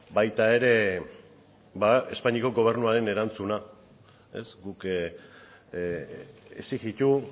baita ere ba espainiako gobernuaren erantzuna ez guk exijitu